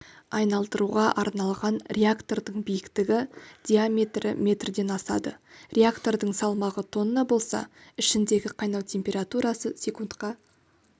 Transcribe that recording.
айналдыруға арналған реактордың биіктігі диаметрі метрден асады реактордың салмағы тонна болса ішіндегі қайнау температурасы секундқа